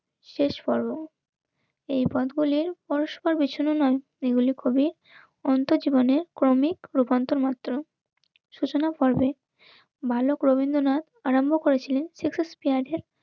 শেষ পর্ব. এই পদগুলি পরস্পর বিছানো নয়. এগুলি খুবই অন্ত জীবনের ক্রমিক রূপান্তর মাত্র সূচনা পর্বে বালক রবীন্দ্রনাথ, আরম্ভ করেছিলেন